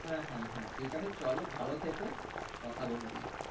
হ্যাঁ হ্যাঁ হ্যাঁ ঠিক আছে চলো ভালো থেকো